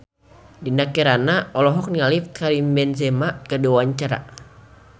Dinda Kirana olohok ningali Karim Benzema keur diwawancara